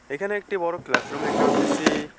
এখানে একটি বড়ো ক্লাসরুম দেখতে পারতাসি।